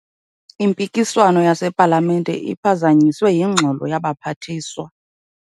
Impikiswano yasepalamente iphazanyiswe yingxolo yabaphathiswa.